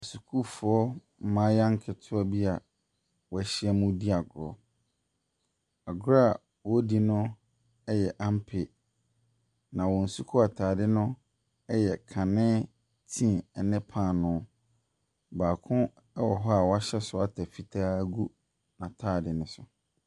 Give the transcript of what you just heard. Sukuufoɔ mmaayewa nketewa bi a wɛhyia mu ɛredi agorɔ. Agorɔ wɔdi no ɛyɛ ampe na wɔn sukuu ataadeɛ no yɛ kanee tiin ɛne paano. Baako ɛwɔ hɔ a wahyɛ sweater fitaa ɛgu n'ataade no so.